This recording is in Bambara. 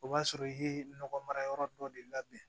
O b'a sɔrɔ i ye nɔgɔ mara yɔrɔ dɔ de labɛn